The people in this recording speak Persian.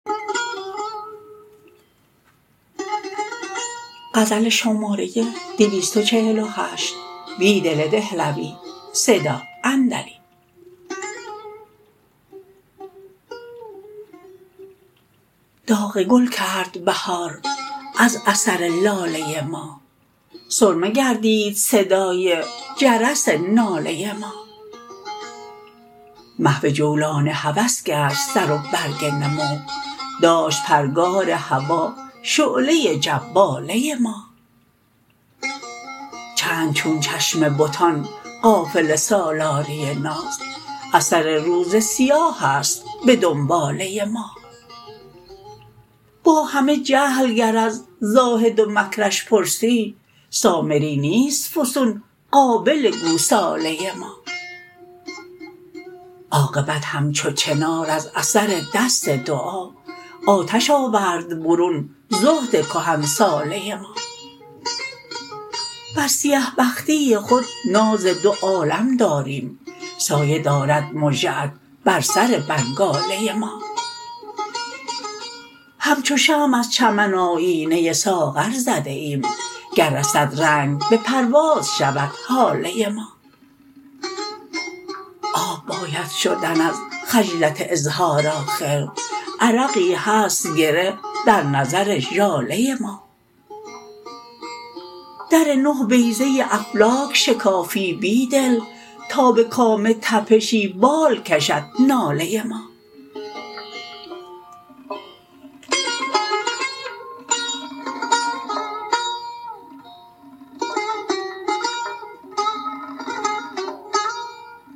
داغ گل کرد بهار از اثر لاله ما سرمه گردید صدای جرس ناله ما محوجولان هوس گشت سروبرگ نمو داشت پرگار هوا شعله جواله ما چند چون چشم بتان قافله سالاری ناز اثر روز سیاه است به دنباله ما با همه جهل گر از زاهد ومکرش پرسی سامری نیست فسون قابل گوساله ما عاقبت همچو چنار از اثر دست دعا آتش آورد برون زهدکهن ساله ما بر سیه بختی خود ناز دو عالم داریم سایه دارد مژه ات بر سر بنگاله ما همچو شمع از چمن آیینه ساغر زده ایم گر رسد رنگ به پرواز شود هاله ما آب باید شدن از خجلت اظهار آخر عرقی هست گره در نظر ژاله ما درنه بیضه افلاک شکافی بیدل تا به کام تپشی بال کشد ناله ما